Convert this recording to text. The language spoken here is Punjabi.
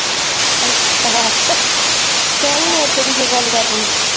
ਅੱਛਾ ਤਾਂ ਵੀ ਕਿ ਗੱਲ ਕਰ ਲਈ